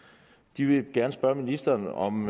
de vil gerne spørge ministeren om